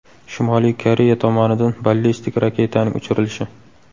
Shimoliy Koreya tomonidan ballistik raketaning uchirilishi.